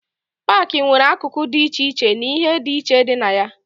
Paakị nwere akụkụ dị iche iche na ihe dị iche dị na ya.